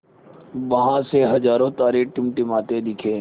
वहाँ उसे हज़ारों तारे टिमटिमाते दिखे